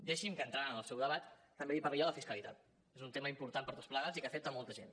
deixi’m que entrant en el seu debat també li parli jo de fiscalitat és un tema important per tots plegats i que afecta molta gent